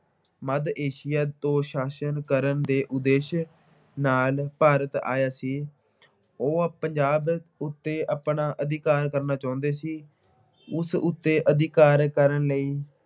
ਮੱਧ Asia ਤੋਂ ਸ਼ਾਸਨ ਕਰਨ ਦੇ ਉਦੇਸ਼ ਨਾਲ ਭਾਰਤ ਆਇਆ ਸੀ। ਉਹ ਪੰਜਾਬ ਉੱਤੇ ਆਪਣਾ ਅਧਿਕਾਰ ਕਰਨਾ ਚਾਹੁੰਦੇ ਸੀ। ਉਸ ਉੱਤੇ ਅਧਿਕਾਰ ਕਰਨ ਲਈ